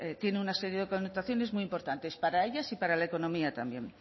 tiene una serie de connotaciones muy importantes para ellas y para la economía también